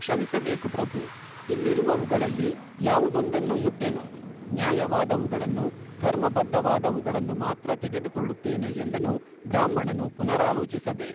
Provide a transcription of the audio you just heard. ಕ್ಷಮಿಸಬೇಕು ಪ್ರಭೂ, ಇಲ್ಲಿರುವವುಗಳಲ್ಲಿ ಯಾವುದೊಂದನ್ನೂ ಮುಟ್ಟೆನು ನ್ಯಾಯವಾದವುಗಳನ್ನು, ಧರ್ಮಬದ್ಧವಾದವುಗಳನ್ನು ಮಾತ್ರ ತೆಗೆದುಕೊಳ್ಳುತ್ತೇನೆ ಎಂದನು ಬ್ರಾಹ್ಮಣನು ಪುನರಾಲೋಚಿಸದೆ